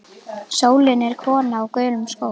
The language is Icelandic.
Sólin er kona á gulum skóm.